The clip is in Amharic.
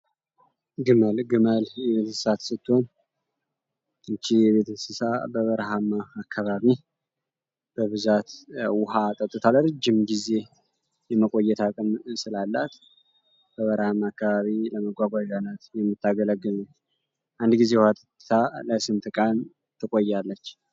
ግመል ግመል የቤት የእንስሳት ስትሆን ይቺ እንስሳት በበረሃማ አካባቢ በብዛት ውሃ ጠጥታለር ጅም ጊዜ የመቆየት ቅም ስላላት በበረሃማ አካባቢ ለመጓጓ የሆነት የሚታገለግኑ አንድ ጊዜ ዋታ ለስምትቃን ትቆያለች?